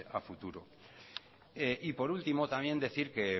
a futuro y por último también decir que